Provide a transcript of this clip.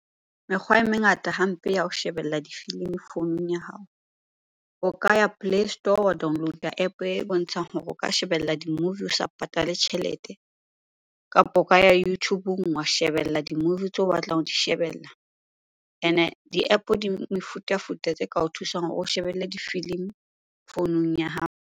Mekgwa e mengata hampe ya ho shebella difilimi founung ya hao. O ka ya play store wa download-a App e bontshang hore o ka shebella di-movie o sa patale tjhelete. Kapo o ka ya YouTube-ung wa shebella di-movie tseo o batlang ho di shebella. Ene di-App di mefutafuta tse ka o thusang hore o shebelle difilimi founung ya hao.